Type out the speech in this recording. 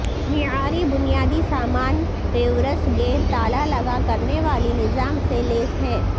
معیاری بنیادی سامان ریورس گیئر تالا لگا کرنے والی نظام سے لیس ہے